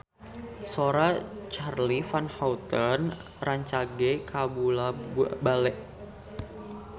Sora Charly Van Houten rancage kabula-bale